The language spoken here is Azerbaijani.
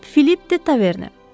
Cənab Filip de Taverni.